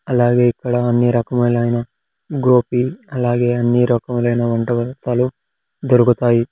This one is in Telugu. అలాగే ఇక్కడ అన్ని రకములైన గోపి అలాగే అన్ని రకములైన వంట వస్తాలు దొరుకుతాయి.